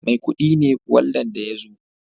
Maikudi ne waldan da ya zo